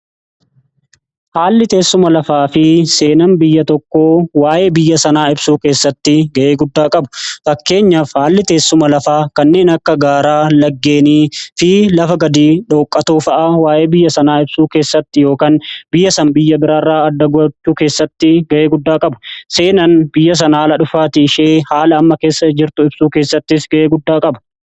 Haalli teessuma lafaa fi seenaan biyya tokkoo waa'ee biyya sanaa ibsuu keessatti ga'ee guddaa qabu. Fakkeenyaaf haalli teessuma lafaa kanneen akka gaaraa, laggeenii fi lafa gadi dhooqaatoo fa'a waa'ee biyya sanaa ibsuu keessatti yookaan biyya sana biyya biraarraa adda gochuu keessatti ga'ee guddaa qaba. Seenaan biyya sana haala dhufaatii ishee haala amma keessa jirtu ibsuu keessattis ga'ee guddaa qaba.